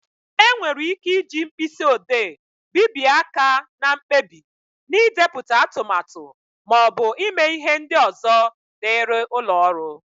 E nwere ị́ké ịji mkpịsị odee bibye áká na mkpebi, n'idepụta atụmatụ maọbụ ịme ihe ndị ọzọ dịrị ụlọ ọrụ.